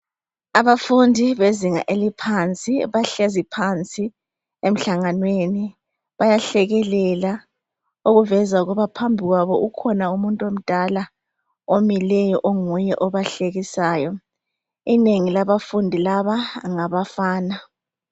Abafundi bezinga eliphansi bahlezi phansi emhlanganweni bayahlekelela okuveza ukuba phambi kwabo kukhona umuntu omdala omileyo onguye obahlekisayo. Inengi labafundi laba ngabafana.